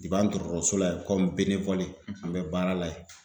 an dɔgɔtɔrɔso la yen kɔmi an bɛ baara la yen